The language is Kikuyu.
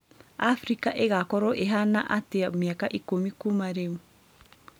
Afrika ĩgaakorwo ĩhaana atĩa mĩaka ikũmi kuuma rĩu